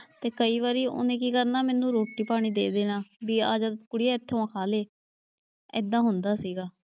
ਤੇ ਕਈ ਵਾਰੀ ਉਹਨੇ ਕੀ ਕਰਨਾ ਮੈਨੂੰ ਰੋਟੀ ਪਾਣੀ ਦੇ ਦੇਣਾ ਵੀ ਆ ਜਾ ਕੁੜੀਏ ਖਾ ਲਏ, ਏਦਾਂ ਹੁੰਦਾ ਸੀਗਾ।